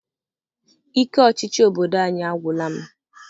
Ike ọchịchị obodo anyị agwụla m.